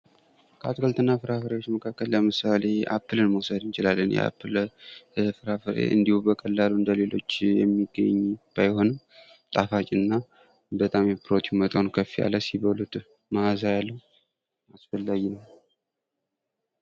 ከአትክልትና ፍራፍሬዎች መካከል ለምሳሌ:-አፕልን መውሰድ እንችላለን። የአፕል ፍራፍሬ እንዲሁ በቀላሉ እንደሌሎችን የሚገኝ ባይሆንም ጣፋጭና በጣም የፕሮቲን መጠኑ ከፍ ያለው ሲበሉትም ማእዛ ያለው። አስፈላጊ ነው